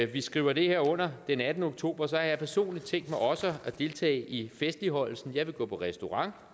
vi skriver det her under den attende oktober så har jeg personligt tænkt mig også at deltage i festligholdelsen jeg vil gå på restaurant